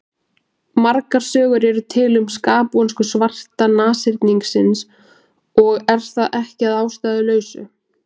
Margar sögur eru til um skapvonsku svarta nashyrningsins og er það ekki að ástæðulausu.